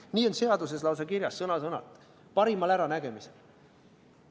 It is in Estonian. Nii on seaduses lausa kirjas, sõna-sõnalt – parimal äranägemisel.